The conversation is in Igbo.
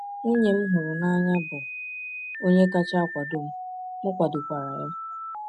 Nwunye m hụrụ n’anya bụ onye kacha akwado m, m kwadorokwa ya.